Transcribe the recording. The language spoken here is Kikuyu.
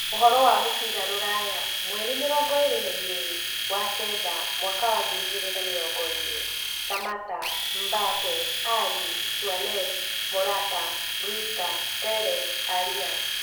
Ũhoro wa mũbira rũraya mwerĩ mĩrongo ĩĩrĩ na igĩrĩ wa-kenda mwaka wa ngiri igĩrĩ na mĩrongo ĩĩrĩ: Samatta, Mbappe, Alli, Suarez, Morata, Brewster, Telles, Arias